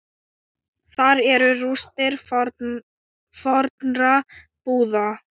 Þar eru rústir fornra búða.